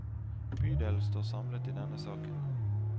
Bydelen står samlet i denne saken.